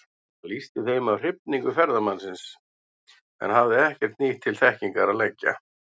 Hann lýsti þeim af hrifningu ferðamannsins, en hafði ekki margt nýtt til þekkingar að leggja.